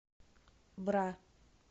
бра